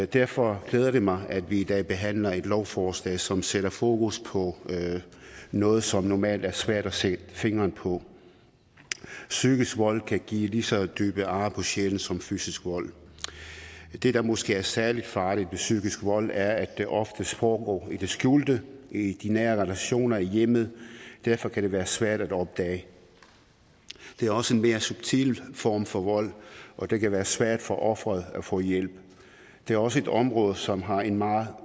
derfor glæder det mig at vi i dag behandler et lovforslag som sætter fokus på noget som normalt er svært at sætte fingeren på psykisk vold kan give lige så dybe ar på sjælen som fysisk vold det der måske er særlig farligt ved psykisk vold er at det ofte foregår i det skjulte i de nære relationer i hjemmet og derfor kan det være svært at opdage det er også en mere subtil form for vold og det kan være svært for offeret at få hjælp det er også et område som har en meget